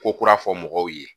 Ko kura fɔ mɔgɔw ye